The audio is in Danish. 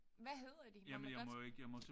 Hvad hedder de må man godt